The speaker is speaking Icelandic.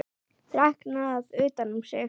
Þreknað utan um sig.